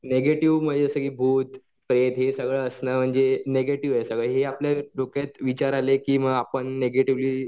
negative म्हणजे जसं की भूत प्रेत हे सगळं असणं म्हणजे निगेटिव्ह आहे सगळं हे आपल्या डोक्यात विचार आले की मग आपण निगेटिव्हली